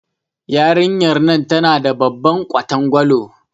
Yarinyar nan tana da babban ƙwatangwalo.